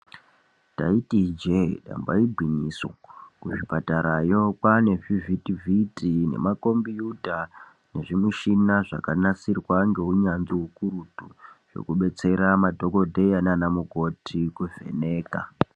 Ndaiti ijee ndamba igwinyiso kuzvipatarayo kwaane zvivhiti vhiti nemakombuyuta nezvimuchini zvakanasirwa ngeunyanzvi ukurutu zvekudetsera madhokodheya nanamukoti kuvheneka.